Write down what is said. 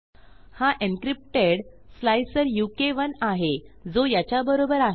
हा encrypted slicer उ के 1 आहे जो याच्याबरोबर आहे